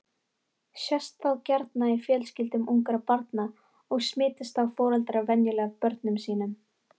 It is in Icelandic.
Sést það gjarna í fjölskyldum ungra barna og smitast þá foreldrar venjulega af börnum sínum.